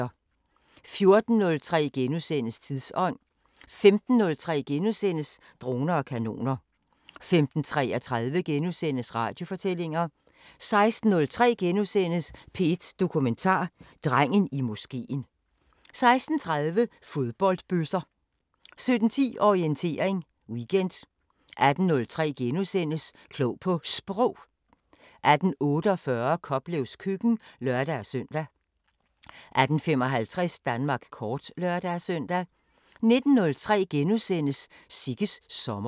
14:03: Tidsånd * 15:03: Droner og kanoner * 15:33: Radiofortællinger * 16:03: P1 Dokumentar: Drengen i moskeen * 16:30: Fodboldbøsser 17:10: Orientering Weekend 18:03: Klog på Sprog * 18:48: Koplevs køkken (lør-søn) 18:55: Danmark kort (lør-søn) 19:03: Sigges sommer *